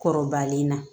Kɔrɔbalen na